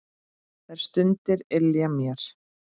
Þær stundir ylja mér.